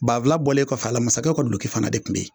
Banfula bɔlen kɔfɛ a la mansakɛw ka duloki fana de tun bɛ yen